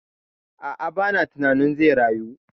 A'a, ba na tunanin zai rayu